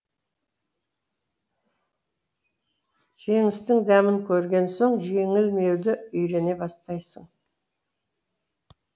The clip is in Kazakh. жеңістің дәмін көрген соң жеңілмеуді үйрене бастайсың